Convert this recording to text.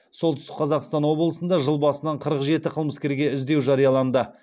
солтүстік қазақстан облысында жыл басынан қырық жеті қылмыскерге іздеу жарияланды